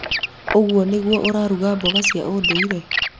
uguo nĩguo ũraruga mboga cia ũndũire?